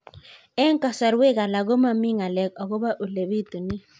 Eng' kasarwek alak ko mami ng'alek akopo ole pitunee